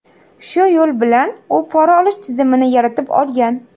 Shu yo‘l bilan u pora olish tizimini yaratib olgan.